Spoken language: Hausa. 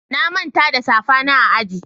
na Manta da safa na a aji.